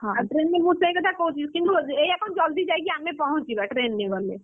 ଆଉ train ରେ, ମୁଁ ସେଇ କଥା କହୁଥିଲି ସେ, ଏୟା କଣ ଜଲ୍‌ଦି ଯାଇକି ଆମେ ପହଞ୍ଚିବା train ରେ ଗଲେ?